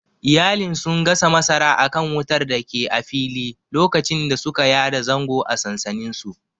Iyalin sun gasa masara akan wutar datake a fili lokacin da suka yada zango a sansaninsu.